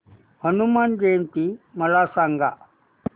हनुमान जयंती मला सांगा